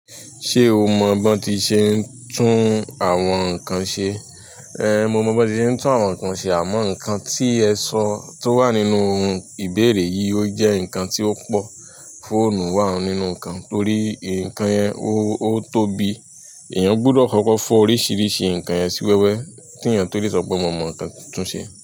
Ṣé o mọ banti ṣe ń tún àwọn nǹkan ṣe? Ehn, mo mọ banti ṣe ń tún àwọn nǹkan ṣe àmọ́ nǹkan tí ẹ sọ tó wà nínú ìbéèrè yìí ó jẹ́ nǹkan tí ó pọ́. Fóònù wa nínú nkan. Torí nkan yẹn o tóbi. Èèyàn gbọdọ̀ kọ́kọ́ fọ́ oríṣiríṣi nǹkan yẹn sí wẹ́wẹ́ ki èèyàn tó lè sọ pé mo mọ nǹkan tún ṣe.